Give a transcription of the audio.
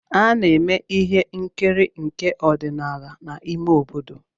A na-eme ihe nkiri nke ọdịnala n’ime obodo